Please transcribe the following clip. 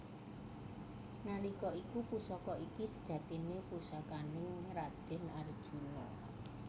Nalika iku Pusaka iki sejatine pusakaning raden Arjuna